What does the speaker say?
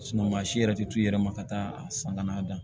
maa si yɛrɛ tɛ t'u yɛrɛ ma ka taa a san kana da